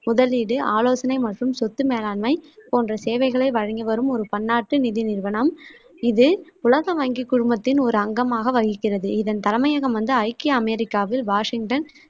முதலீடு, ஆலோசனை மற்றும் சொத்து மேலாண்மை போன்ற சேவைகளை வழங்கி வரும் ஒரு பன்னாட்டு நிதி நிறுவனம். இது உலக வங்கிக் குழுமத்தின் ஒரு அங்கமாக வகிக்கிறது. இதன் தலைமையகம் வந்து ஐக்கிய அமெரிக்காவில் வாஷிங்டன்